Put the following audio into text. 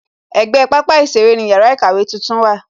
Ègbé pápá ìṣeré ni yàrá ìkàwé tuntun wà